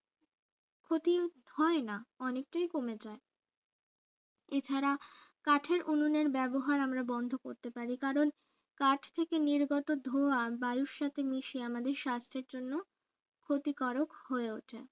ক্ষতি হয় না অনেকটাই কমে যায় এছাড়া কাঠের উনুনের ব্যবহার আমরা বন্ধ করতে পারি কারণ কাঠ থেকে নির্গত ধোঁয়া বায়ুর সাথে মিছে আমাদের স্বাস্থ্যের জন্য ক্ষতিকারক হয়ে ওঠে